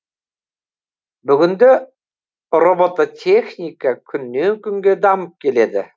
бүгінде роботехника күннен күнге дамып келеді